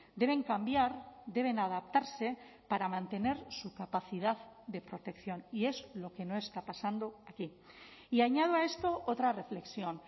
deben cambiar deben adaptarse para mantener su capacidad de protección y es lo que no está pasando aquí y añado a esto otra reflexión